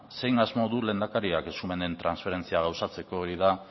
zein asmo du lehendakariak eskumenen transferentzia gauzatzeko hori da